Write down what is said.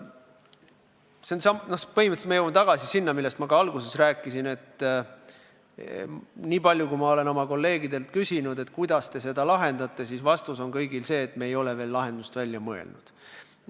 Põhimõtteliselt me jõuame tagasi sinna, millest ma alguses rääkisin, et niipalju, kui ma olen kolleegidelt küsinud, kuidas te seda lahendate, on vastus kõigil olnud see, et me ei ole veel lahendust välja mõelnud.